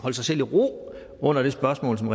holde sig selv i ro under det spørgsmål som